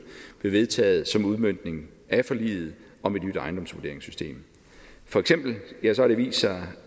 blev vedtaget som udmøntning af forliget om et nyt ejendomsvurderingssystem for eksempel har det vist sig